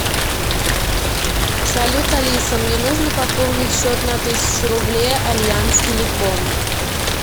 салют алиса мне нужно пополнить счет на тысячу рублей альянс телеком